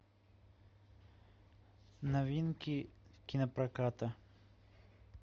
новинки кинопроката